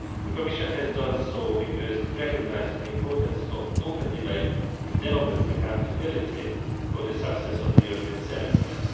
round. The Commission has done this because it recognises the importance of open debate and democratic accountability for the success of the European Semester.